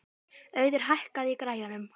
Auður, hækkaðu í græjunum.